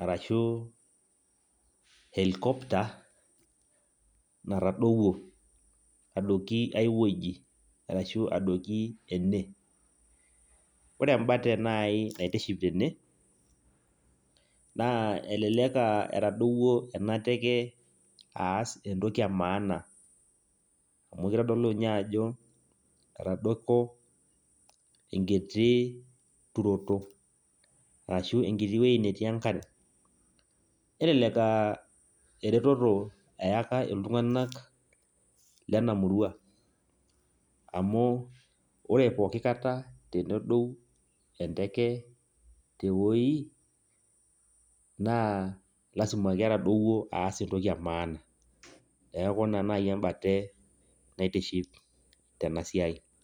Arashu helicopter, natadowuo. Adoki ai wuoji. Arashu adoki ene. Ore embate nai naitiship tene, naa elelek ah etadowuo ena teke aas entoki emaana. Amu kitodolu nye ajo, etadoko enkiti turoto. Arashu enkiti woi netii enkare. Nelelek ah ereteto eyaka iltung'anak lenamurua. Amu ore pooki kata tenedou enteke tewoi, naa lasima ketadowuo aas entoki emaana. Neeku ina nai embate naitiship tenasiai.